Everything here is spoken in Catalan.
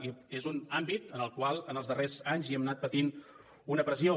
i és un àmbit en el qual en els darrers anys hem anat patint una pressió